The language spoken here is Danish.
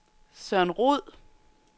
Søren Roed